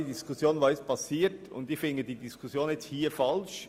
Aber ich finde die jetzige Diskussion hier falsch.